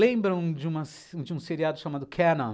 Lembram de uma se de um seriado chamado Canon,